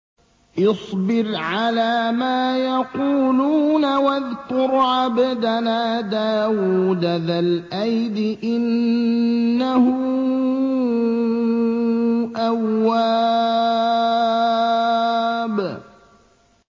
اصْبِرْ عَلَىٰ مَا يَقُولُونَ وَاذْكُرْ عَبْدَنَا دَاوُودَ ذَا الْأَيْدِ ۖ إِنَّهُ أَوَّابٌ